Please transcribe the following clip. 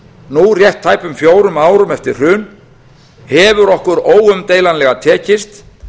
nú rétt tæpum fjórum árum eftir hrun hefur okkur óumdeilanlega tekist